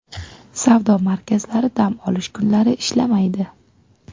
Savdo markazlari dam olish kunlari ishlamaydi.